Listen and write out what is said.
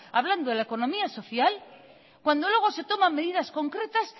hablando de la economía social cuando luego se toman medidas concretas